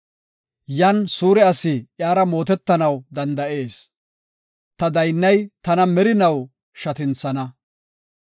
Yan suure asi iyara mootetanaw danda7ees; ta daynnay tana merinaw shatinthana.